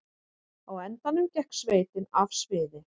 Á endanum gekk sveitin af sviði